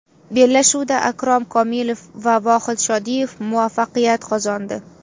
Bellashuvda Akrom Komilov va Vohid Shodiyev muvaffaqiyat qozondi.